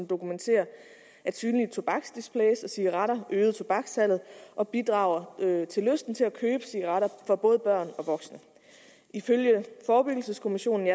dokumenterer at synlige tobaksdisplays og cigaretter øger tobakssalget og bidrager til lysten til at købe cigaretter for både børn og voksne ifølge forebyggelseskommissionen